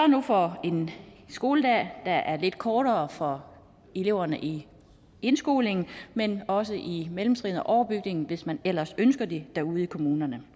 nu for en skoledag der er lidt kortere for eleverne i indskolingen men også i mellemtrinet og på overbygningen hvis man ellers ønsker det derude i kommunerne